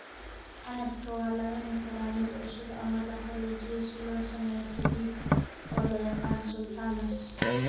Canabka waa la cuni karaa mid cusub ama la qalajiyey si loo sameeyo sabiib, oo loo yaqaan sultanas.